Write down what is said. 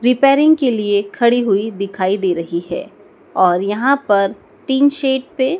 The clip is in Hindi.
रिपेयरिंग के लिए खड़ी हुई दिखाई दे रही है और यहाँ पर टीनशेड पे--